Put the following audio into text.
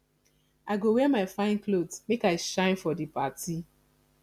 i go wear my fine cloth make i shine for di party